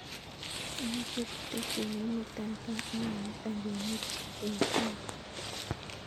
Amoche teksi neimuton kaa ak komutan kwenut an taun